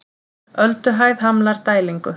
Ölduhæð hamlar dælingu